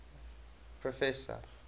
professor